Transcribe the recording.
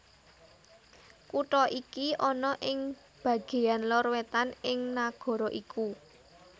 Kutha iki ana ing bagéyan lor wétan ing nagara iku